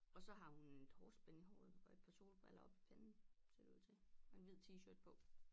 Og så har hun et hårspænde i håret og et par solbriller oppe i panden ser det ud til og en hvid t-shirt på